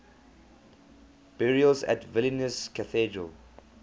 burials at vilnius cathedral